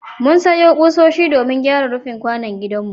Mun sayo ƙusoshi domin gyara rufin kwanon gidanmu.